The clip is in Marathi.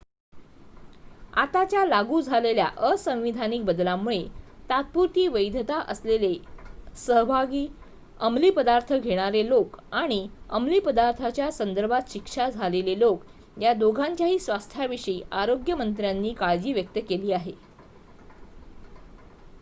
आताच्या लागू झालेल्या असंवैधानिक बदलांमुळे तात्पुरती वैधता असलेले सहभागी अमलीपदार्थ घेणारे लोक आणि अमलीपदार्थांच्या संदर्भात शिक्षा झालेले लोक या दोघांच्याही स्वास्थ्याविषयी आरोग्य मंत्र्यांनी काळजी व्यक्त केली आहे